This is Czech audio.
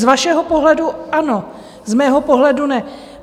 Z vašeho pohledu ano, z mého pohledu ne!